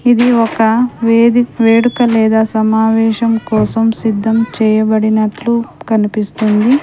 ఇది ఒక వేది వేడుక లేదా సమావేశం కోసం సిద్ధం చేయబడినట్లు కనిపిస్తుంది.